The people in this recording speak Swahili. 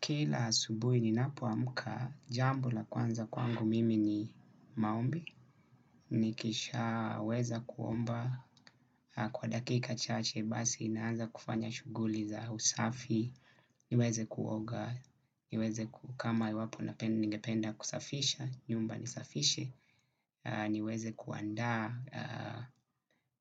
Kila asubui ninapoamka, jambo la kwanza kwangu mimi ni maombi. Nikishaweza kuomba kwa dakika chache basi naanza kufanya shughuli za usafi. Niweze kuoga, niweze ku kama iwapo ningependa kusafisha, nyumba nisafishe. Niweze kuandaa